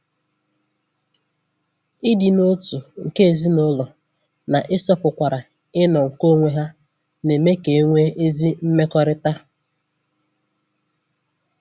Ịdị n'otu nke ezinụlọ na-ịsọpụkwara ịnọ nke onwe ha na-eme ka e nwee ezi mmekọrịta.